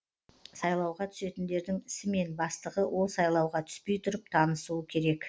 сайлауға түсетіндердің ісімен бастығы ол сайлауға түспей тұрып танысуы керек